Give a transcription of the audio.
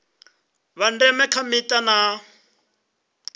vha ndeme kha mita na